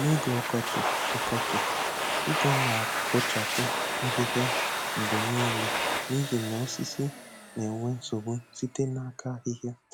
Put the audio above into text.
N'oge ọkọchị, ọkọchị, ị ga na-abọchapụ ahịhịa mgbe niile n'ihi na osisi na-enwe nsogbu site n'aka ahịhịa.